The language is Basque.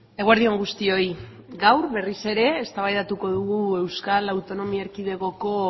eguerdi on guztioi gaur berriz ere eztabaidatuko dugu euskal autonomia erkidegoko